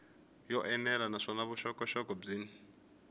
yo enela naswona vuxokoxoko byin